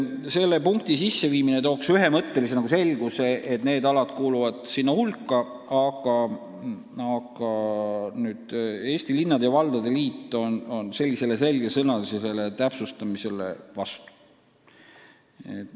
Selle punkti lisamine looks ühemõttelise selguse, et need alad kuuluvad sinna hulka, aga Eesti Linnade ja Valdade Liit on sellisele selgesõnalisele täpsustamisele vastu.